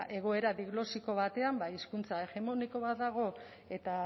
egoera diglosiko batean ba hizkuntza hegemoniko bat dago eta